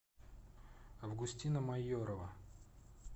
августина майорова